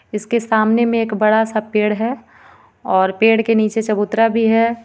इसके सामने में एक बड़ा सा पेड़ है और पेड़ के नीचे चबूतरा भी है.